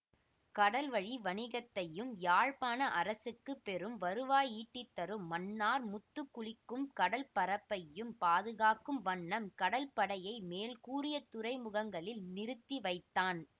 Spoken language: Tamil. கடல் வழி வணிகத்தையும் யாழ்ப்பாண அரசுக்கு பெரும் வருவாயிட்டித்தரும் மன்னார் முத்துக்குளிக்கும் கடல்ப் பரப்பையும் பாதுகாக்கும் வண்ணம் கடல்படையை மேல்கூறிய துறைமுகங்களில் நிறுத்திவைத்தான்